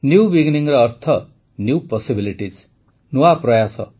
new Beginningଅର୍ଥ new possibilities ନୂଆ ପ୍ରୟାସ